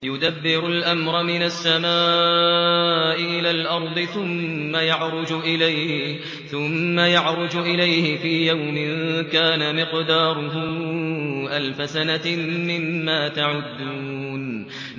يُدَبِّرُ الْأَمْرَ مِنَ السَّمَاءِ إِلَى الْأَرْضِ ثُمَّ يَعْرُجُ إِلَيْهِ فِي يَوْمٍ كَانَ مِقْدَارُهُ أَلْفَ سَنَةٍ مِّمَّا تَعُدُّونَ